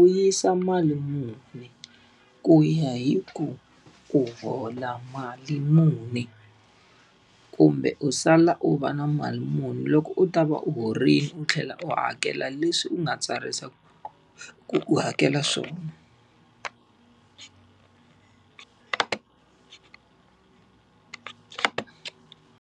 u yisa mali muni ku ya hi ku u hola mali muni, kumbe u sala u va na mali muni loko u ta va u horile u tlhela u hakela leswi u nga tsarisa ku u hakela swona.